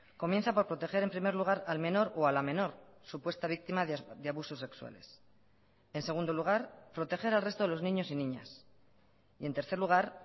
comienza por proteger en primer lugar al menor o a la menor supuesta víctima de abusos sexuales en segundo lugar proteger al resto de los niños y niñas y en tercer lugar